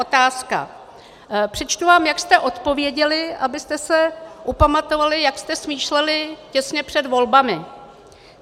Otázka - přečtu vám, jak jste odpověděli, abyste se upamatovali, jak jste smýšleli těsně před volbami.